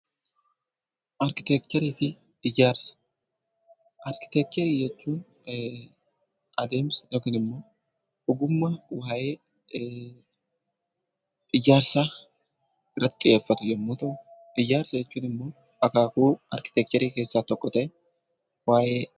Arkiteekcharii fi ijaarsa Arkiteekcharii jechuun adeemsa yookiin ogummaa waa'ee ijaarsaa irratti xiyyeeffate yoo ta'u, ijaarsa jechuun immoo akaakuu arkiteekcharii ta'ee waa'ee ijaarsaa kan qo'atudha.